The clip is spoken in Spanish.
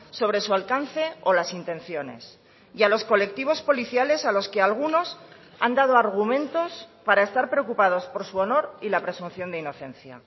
sobre su alcance o las intenciones y a los colectivos policiales a los que algunos han dado argumentos para estar preocupados por su honor y la presunción de inocencia